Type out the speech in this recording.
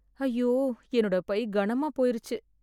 ஐய்யோ என்னோட பை கனமா போயிருச்சு